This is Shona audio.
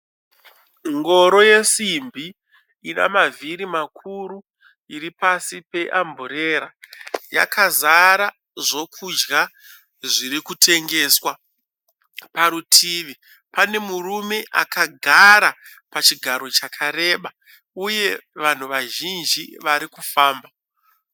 Ngoro yesimbi. Ine mavhiri makuru iripasi pa amburera. Yakazara zvokudya zvirikutengeswa. Parutivi pane murume akagara pachigaro chakareba uye vanhu vazhinji varikufamba.